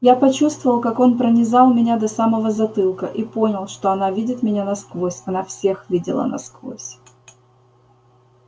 я почувствовал как он пронизал меня до самого затылка и понял что она видит меня насквозь она всех видела насквозь